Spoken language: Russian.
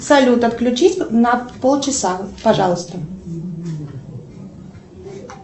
салют отключись на пол часа пожалуйста